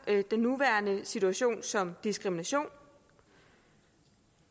den nuværende situation som diskrimination